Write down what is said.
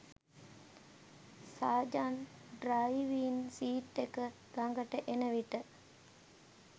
සාජන් driving seat එක ලගට එන විට